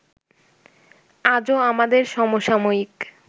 আজও আমাদের সমসাময়িক